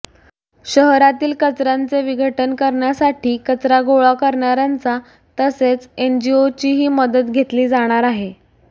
शहरातील कचर्याचे विघटन करण्यासाठी कचरा गोळा करणार्यांचा तसेच एनजीओंचीही मदत घेतली जाणार आहे